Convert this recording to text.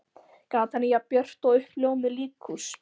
Gatan er jafn björt og uppljómað líkhús.